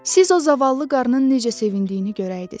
Siz o zavallı qarının necə sevindiyini görəydiz.